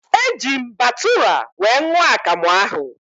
Eji m batụra wee ṅụọ akamụ ahụ